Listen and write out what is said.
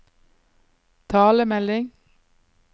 talemelding